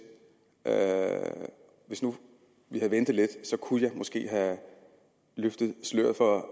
hvis nu vi havde ventet lidt kunne jeg måske have løftet sløret for